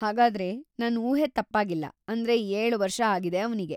ಹಾಗಾದ್ರೆ, ನನ್‌ ಊಹೆ ತಪ್ಪಾಗಿಲ್ಲ ಅಂದ್ರೆ, ಏಳು ವರ್ಷ ಆಗಿದೆ ಅವ್ನಿಗೆ.